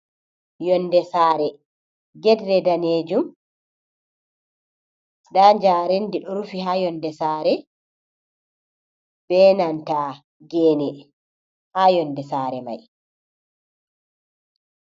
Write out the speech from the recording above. Yonde saare. Get re daneejum, nda njaarendi ɗo rufi haa yonde saare, be nanta geene haa yonde saare mai.